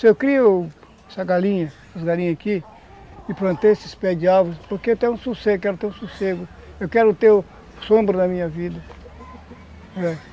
Se eu crio essa galinha, essas galinhas aqui, e plantei esses pés de árvores, porque eu quero ter um sossego, eu quero ter um sossego, eu quero ter sombra em minha vida.